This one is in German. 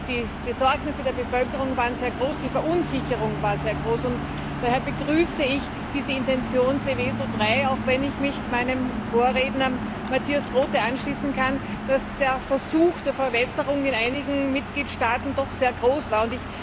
Die Sorgen in der Bevölkerung waren sehr groß, die Verunsicherung war sehr groß. Daher begrüße ich diese Intention Seveso III, auch wenn ich mich meinem Vorredner, Matthias Groote, anschließen kann, dass der Versuch der Verwässerung in einigen Mitgliedstaaten doch sehr groß war.